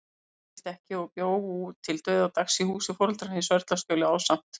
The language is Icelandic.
Hún giftist ekki og bjó til dauðadags í húsi foreldranna í Sörlaskjóli, ásamt